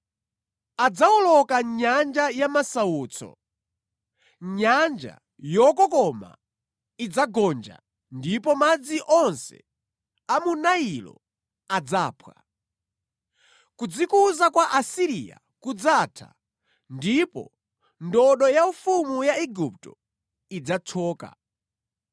Adzawoloka nyanja ya masautso; nyanja yokokoma idzagonja ndipo madzi onse a mu Nailo adzaphwa. Kudzikuza kwa Asiriya kudzatha ndipo ndodo yaufumu ya Igupto idzathyoka.